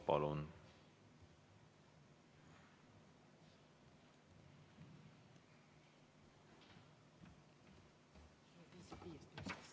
Palun!